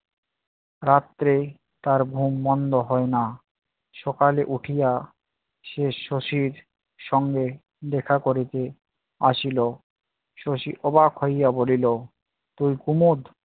রাত্রে তার ঘুম বন্ধ হয় না। সকালে উঠিয়া সে সচিব সঙ্গে দেখা করিতে আসিল। সচিব অবাক হইয়া বলিল- তুই উমদ